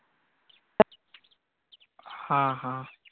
हा हा.